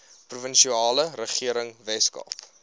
provinsiale regering weskaap